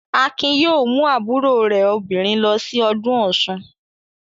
Akin yóò mú àbúrò rẹ̀ obìnrin lọ sí ọdún Ọ̀ṣun.